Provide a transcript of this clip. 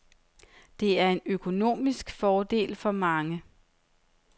Det er en økonomisk fordel for mange.